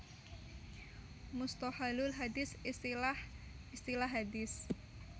Musthohalul hadits Istilah istilah hadits